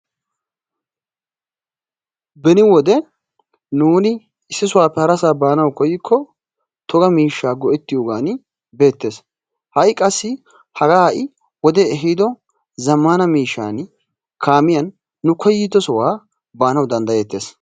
Beni wode nuuni issisaappe harassaa baanawu koykko togga miishshaa go'ettiyogaan betees. Hai qassi haaga hai wodee ehiiddo zammana miishshaan kaamiyan nu koyddosaa baanawu danddayees.